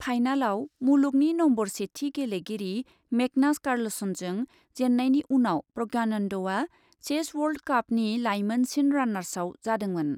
फाइनालाव मुलुगनि नम्बर सेथि गेलेगिरि मेगनास कार्लसनजों जेन्नायनि उनाव प्रज्ञानन्दआ चेस वर्ल्ड कापनि लाइमोनसिन रानार्सआव जादोंमोन।